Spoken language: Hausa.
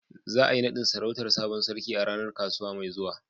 Za a yi naɗin sarautar sabon sarki a ranar kasuwa mai zuwa.